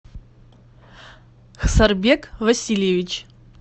сарбек васильевич